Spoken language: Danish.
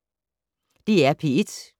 DR P1